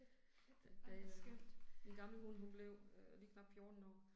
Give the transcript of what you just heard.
Da øh, min gamle hund hun blev øh lige knap 14 år